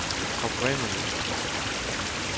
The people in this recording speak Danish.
oprindelige